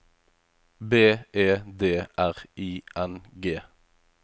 B E D R I N G